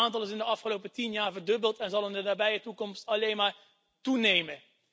Dat aantal is in de afgelopen tien jaar verdubbeld en zal in de nabije toekomst alleen maar toenemen.